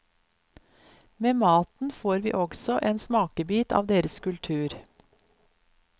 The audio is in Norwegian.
Med maten får vi også en smakebit av deres kultur.